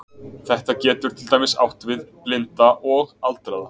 Þetta getur til dæmis átt við blinda og aldraða.